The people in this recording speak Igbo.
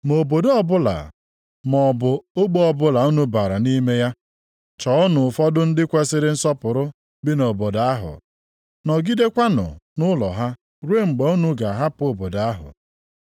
Ma obodo ọbụla maọbụ ogbe ọbụla unu bara nʼime ya, chọọnụ ụfọdụ ndị kwesiri nsọpụrụ bi nʼobodo ahụ. Nọgidekwanụ nʼụlọ ha ruo mgbe unu ga-ahapụ obodo ahụ.